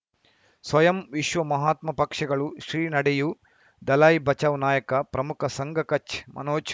ಸ್ವಯಂ ವಿಶ್ವ ಮಹಾತ್ಮ ಪಕ್ಷಗಳು ಶ್ರೀ ನಡೆಯೂ ದಲೈ ಬಚೌ ನಾಯಕ ಪ್ರಮುಖ ಸಂಘ ಕಚ್ ಮನೋಜ್